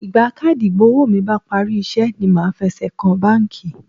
Ìgbà káàdì ìgbowó mi bá parí iṣẹ́ ni màá fẹsẹ̀ kan báńkì.